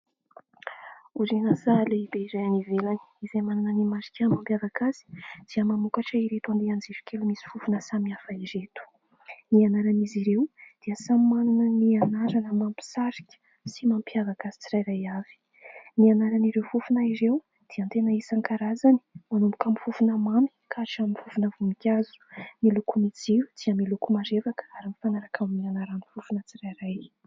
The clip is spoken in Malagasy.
Orinasa lehibe iray any ivelany izay manana ny marika mampiavaka azy dia mamokatra ireto andehan-jirokely misy fofona samy hafa ireto ny anaran'izy ireo dia samy manana ny anarana mampisarika sy mampiavaka azy tsirairay avy ny anaran'ireo fofona ireo dia tena isan-karazany manomboka amin'ny fofona mamy ka hatramin'ny fofona voninkazo ny lokomijio dia miloko marevaka ary mifanaraka amin'ny anaran'ny fofona tsirairay